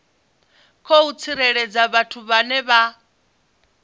khou tsireledzwa vhathu vhane vha